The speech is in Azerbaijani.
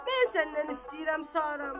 mən səndən istəyirəm Saramı.